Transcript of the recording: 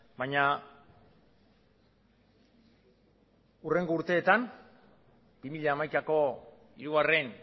baina hurrengo urteetan bi mila hamaikako hirugarren